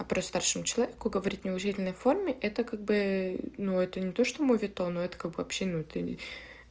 просто старшему человеку говорить в неуважительной форме это как бы ну это не то что моветон это как бы вообще ну ты